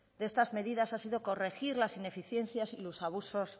de estas medidas ha sido corregir las ineficiencias y los abusos